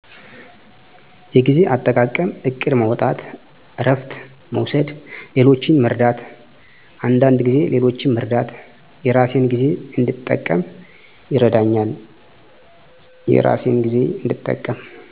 የጊዜ አጠቃቀም እቅድ ማውጣት እረፍት መውሰድ ሌሎችን መርዳት አንዳንድ ጊዜ ሌሎችን መርዳት የራሴን ጊዜ እንድጠቀም ይረዳኛል።